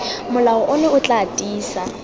molao ono o tla tiisa